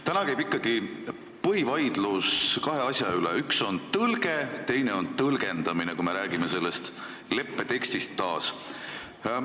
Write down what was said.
Täna käib ikkagi põhivaidlus kahe asja üle, kui me räägime taas selle leppe tekstist: üks on tõlge, teine on tõlgendamine.